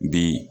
Bi